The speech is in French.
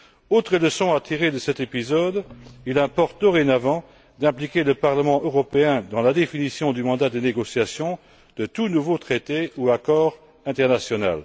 Autre leçon à tirer de cet épisode il importe dorénavant d'impliquer le Parlement européen dans la définition du mandat de négociation de tout nouveau traité ou accord international.